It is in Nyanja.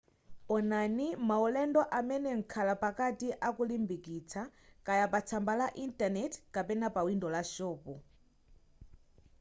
onanai maulendo amene mkhalapakati akulimbikitsa kaya pa tsamba la intaneti kapena pawindo la shopu